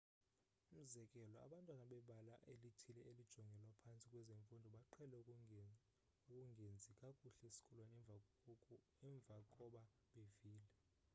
umzekelo abantwana bebala elithile elijongelwa phantsi kwezemfundo baqhele ukungenzi kakuhle esikolweni emva koba bevile